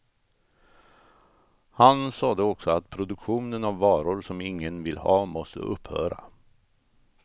Han sade också att produktionen av varor som ingen vill ha måste upphöra.